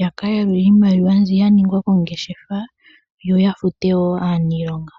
ya ka yalule iimaliwa mbi ya ninga kongeshefa, yo ya fute wo aaniilonga.